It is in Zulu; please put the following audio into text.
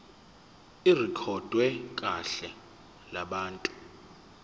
irekhodwe kuhla lwabantu